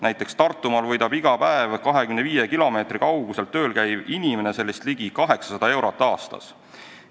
Näiteks Tartumaal võidab iga päev 25 kilomeetri kaugusel tööl käiv inimene ligi 800 eurot aastas.